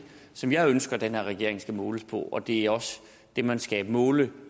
som jeg ønsker den her regering skal måles på og det er også det man skal måle